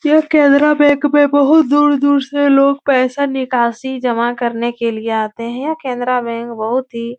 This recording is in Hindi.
यह केनेरा बैंक में बहुत दूर-दूर से लोग पैसा निकासी जमा करने के लिये आते हैं। केनेरा बैंक बहुत ही --